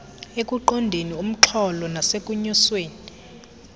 ekuqondeni umxholo nasekunyuseni